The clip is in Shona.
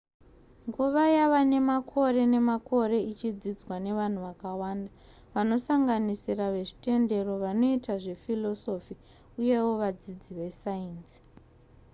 nguva yava nemakore nemakore ichidzidzwa nevanhu vakawanda vanosanganisira vezvitendero vanoita zvephilosophy uyewo vadzidzi vesainzi